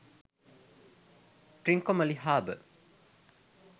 trincomalee habour